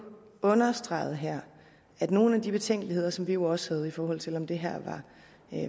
understreget her at nogle af de betænkeligheder som vi jo også havde i forhold til om det her